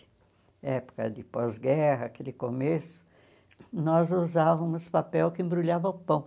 Época de pós-guerra, aquele começo, nós usávamos papel que embrulhava o pão.